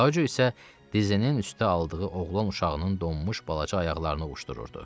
Kajo isə dizinin üstə aldığı oğlan uşağının donmuş balaca ayaqlarını ovuşdururdu.